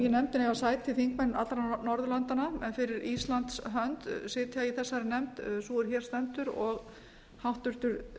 í nefndinni eiga þingmenn allra norðurlandanna en fyrir íslands hönd sitja í þessari nefnd sú er hér stendur og háttvirtur